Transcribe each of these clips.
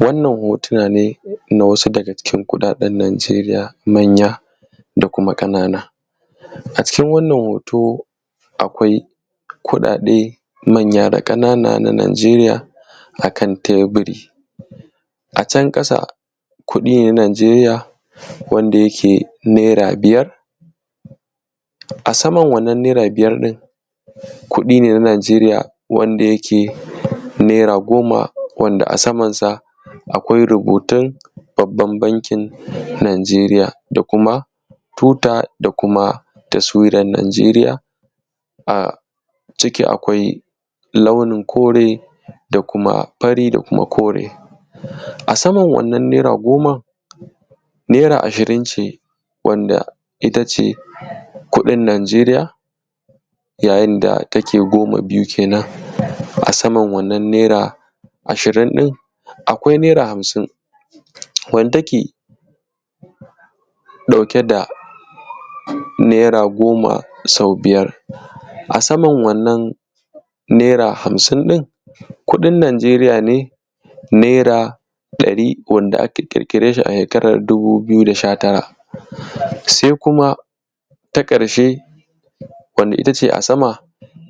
Wannan hotuna ne na wasu daga cikin kuɗaɗen Nijeriya manya da kuma ƙanana. Acikin wannan hoto akwai kuɗaɗe manya da ƙanana Najeriya akan teburi, a can ƙasa kuɗi ne na Nijeriya wanda yake naira biyar, a saman wannan naira biyar ɗin kuɗi ne na Nijeriya wanda yake naira goma, wanda a saman sa akwai rubutun babban bankin Najeriya da kuma tuta da kuma taswiran Nijeriya, aciki akwai launin kore da kuma fari da kuma kore. A saman wannan naira goman, naira ashirin ce wanda ita ce kuɗin Najeriya, yayin da take goma biyu kenan, a saman wannan naira ashirin ɗin, akwai naira hamsin wanda take ɗauke da naira goma sau biyar. A saman wannan naira hamsin ɗin kuɗin Najeriya ne naira ɗari wanda aka ƙirƙire shi a shekarar dubu biyu da sha-tara. Sai kuma ta ƙarshe wanda kuma ita ce a sama,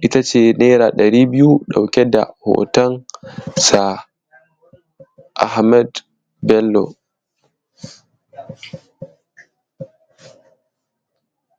ita ce naira ɗari biyu ɗauke da hoton Sir Ahmad Bello.